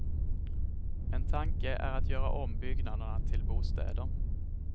En tanke är att göra om byggnaderna till bostäder.